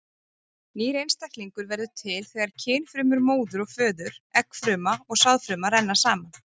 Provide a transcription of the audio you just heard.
Nýr einstaklingur verður til þegar kynfrumur móður og föður, eggfruma og sáðfruma, renna saman.